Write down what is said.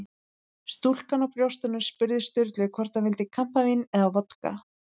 Stúlkan á brjóstunum spurði Sturlu hvort hann vildi kampavín eða vodka.